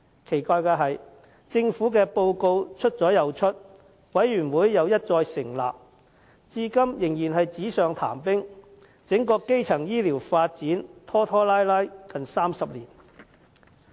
奇怪的是，政府的報告出了又出，委員會一再成立，但至今仍然是紙上談兵，整個基層醫療發展拖拖拉拉了近30年。